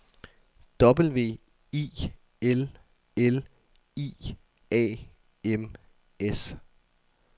W I L L I A M S